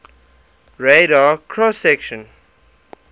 radar cross section